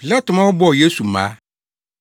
Pilato ma wɔbɔɔ Yesu mmaa.